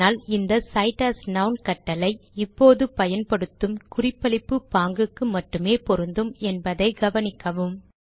ஆனால் இந்த cite as நான் கட்டளை இப்போது பயன்படுத்தும் குறிப்பளிப்பு பாங்குக்கு மட்டுமே பொருந்தும் என்பதை கவனிக்கவும்